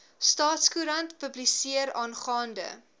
staatskoerant publiseer aangaande